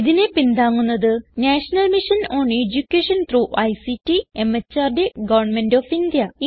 ഇതിനെ പിന്താങ്ങുന്നത് national mission on education through ICT MHRD government of India